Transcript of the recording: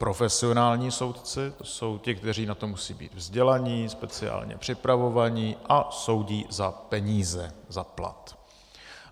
Profesionální soudci, to jsou ti, kteří na to musejí být vzdělaní, speciálně připravovaní a soudí za peníze, za plat.